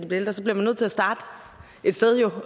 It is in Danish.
bliver ældre så bliver man nødt til at starte et sted